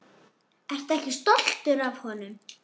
Ertu ekki stoltur af honum?